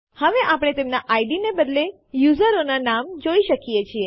તમે ફાઈલો ABC pop અને pushટીએક્સટી જોઈ શકો છો